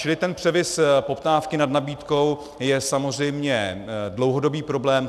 Čili ten převis poptávky nad nabídkou je samozřejmě dlouhodobý problém.